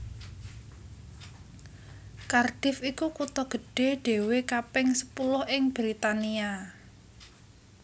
Cardiff iku kutha gedhé dhéwé kaping sepuluh ing Britania